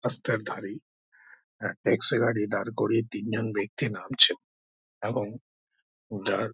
রাস্তার ধারেই আ ট্যাক্সি গাড়ি দাঁড় করিয়ে তিন জন ব্যাক্তি নামছে এবং যার--